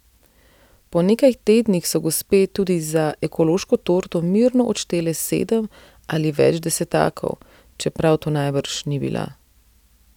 Po nekaj tednih so gospe tudi za ekološko torto mirno odštele sedem ali več desetakov, čeprav to najbrž ni bila.